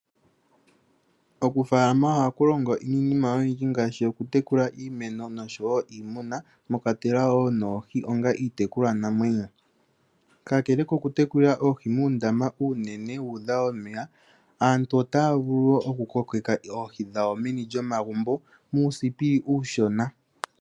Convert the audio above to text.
Okufalama ohaku longo niinima oyindji ngaashi okutekula iimeno niimuna mwakwatelwa noohi onga iitekulwa namwenyo. Kakele koku tekula oohi muundama uunene wudha omeya aantu otaya vulu okukokeka oohi dhawo meni lyomagumbo muuthipi uushona.